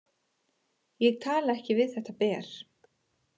Ég tala ekki við þetta ber.